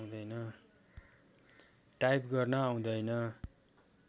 type गर्न आउँदैन